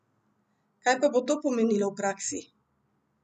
Kaj pa bo to pomenilo v praksi?